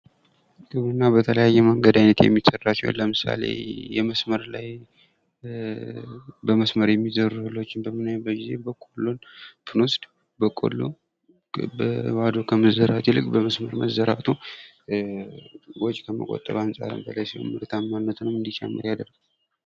ግብርና በተለያየ መንገድ የሚዘራ ሲሆን ለመሳሌ በመስመር ላየ በመስመር የሚዘሩ እህሎችን በምናይበት ጊዜ በቆሎን ብንወስድ በቆሎ በባዶ ከመዘራት ይልቅ በመስመር መዘራቱ ወጭ ከመቆጠብ አንጻር ምርታማነቱንም እንዲጨምር ያደርጋል።